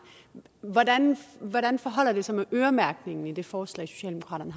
hvordan hvordan forholder det sig med øremærkningen i det forslag socialdemokraterne